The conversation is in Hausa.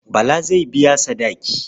Bala zai biya sadaki.